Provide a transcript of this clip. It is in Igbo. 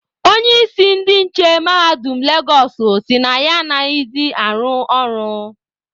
Onye isi ndị nche mahadum Legosụ sị na ya anaghịzị arụ ọrụ.